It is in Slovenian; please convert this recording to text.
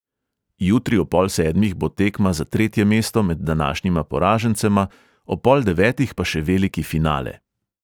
Jutri ob pol sedmih bo tekma za tretje mesto med današnjima poražencema, ob pol devetih pa še veliki finale.